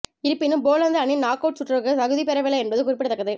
இருப்பினும் போலந்து அணி knock out சுற்றுக்கு தகுதி பெறவில்லை என்பது குறிப்பிடத்தக்கது